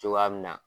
Cogoya min na